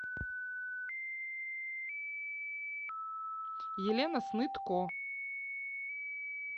елена снытко